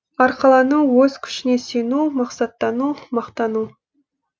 арқалану өз күшіне сену мақсаттану мақтану